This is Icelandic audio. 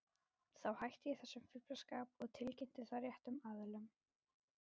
Þá hætti ég þessum fíflaskap og tilkynnti það réttum aðilum.